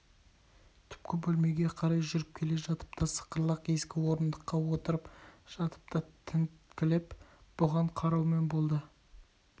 түпкі бөлмеге қарай жүріп келе жатып та сықырлақ ескі орындыққа отырып жатып та тінткілеп бұған қараумен болды